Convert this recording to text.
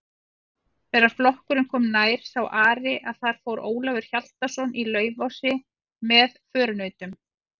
Þegar flokkurinn kom nær sá Ari að þar fór Ólafur Hjaltason í Laufási með förunautum.